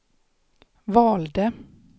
valde